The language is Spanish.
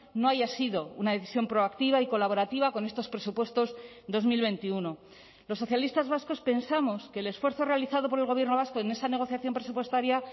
no haya sido una decisión proactiva y colaborativa con estos presupuestos dos mil veintiuno los socialistas vascos pensamos que el esfuerzo realizado por el gobierno vasco en esa negociación presupuestaria